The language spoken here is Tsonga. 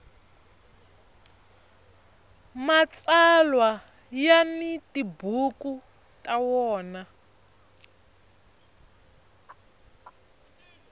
mtsalwa ya ni tibuku ta wona